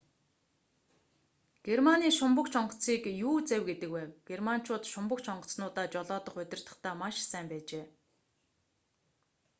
германы шумбагч онгоцыг u-завь гэдэг байв. германчууд шумбагч онгоцнуудаа жолоодох удирдахдаа маш сайн байжээ